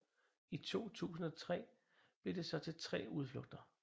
I 2003 blev det så til tre udflugter